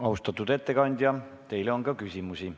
Austatud ettekandja, teile on ka küsimusi.